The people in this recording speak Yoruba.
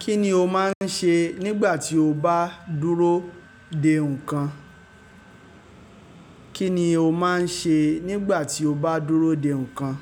Kí ni o máa ń ṣe nígbà tí o bá dúró de nǹkan? Kí ni o máa ń ṣe nígbà tí o bá dúró de nǹkan?